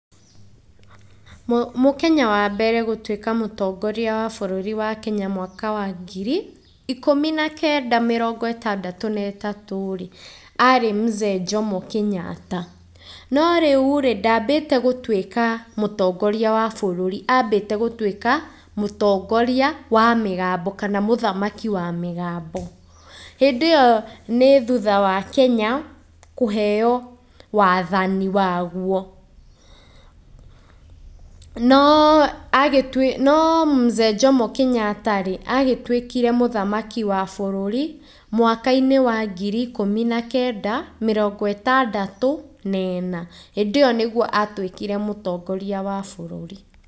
Mũkenya wa mbere gũtuĩka mũtongoria wa bũrũri wa Kenya mwaka wa ngiri ikũmi na kenda mĩrongo ĩtandatũ na ĩtatũ rĩ, arĩ mzee Jomo Kenyatta. No rĩurĩ, ndambĩte gũtuĩka mũtongoria wa bũrũri, ambĩte gũtuĩka mũtongoria wa mĩgambo kana mũthamaki wa mĩgambo, hĩndĩ ĩyo nĩ thutha wa Kenya kũheo waathani waguo. No mzee Jomo Kenyatta rĩ, agĩtuĩkire mũthamaki wa bũrũri mwaka-inĩ wa ngiri ikũmi na kenda, mĩrongo ĩtandatũ na ĩna, hĩndĩ ĩyo nĩyo atuĩkire mũtongoria wa bũrũri.